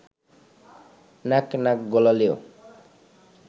নাক না গলালেও